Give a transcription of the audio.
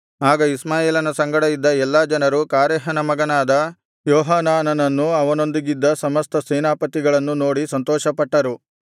ಆಗ ಇಷ್ಮಾಯೇಲನ ಸಂಗಡ ಇದ್ದ ಎಲ್ಲಾ ಜನರು ಕಾರೇಹನ ಮಗನಾದ ಯೋಹಾನಾನನನ್ನೂ ಅವನೊಂದಿಗಿದ್ದ ಸಮಸ್ತ ಸೇನಾಪತಿಗಳನ್ನೂ ನೋಡಿ ಸಂತೋಷಪಟ್ಟರು